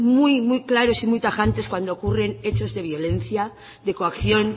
muy muy claros y muy tajantes cuando ocurren hechos de violencia de coacción